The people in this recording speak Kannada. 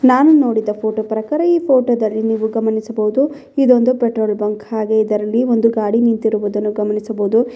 ನಾನು ನೋಡಿದ ಫೋಟೋ ಪ್ರಕಾರ ಈ ಫೋಟೋದಲ್ಲಿ ನೀವು ಗಮನಿಸಬಹುದು ಇದೊಂದು ಪೆಟ್ರೋಲ್ ಬಂಕ್ ಹಾಗೆ ಇದರಲ್ಲಿ ಒಂದು ಗಾಡಿ ನಿಂತಿರುವುದನ್ನು ಗಮನಿಸಬಹುದು.